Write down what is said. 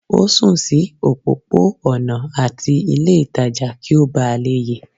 o sùn sí òpópó-ònà ati ilé ìtajà kí o bá lè ye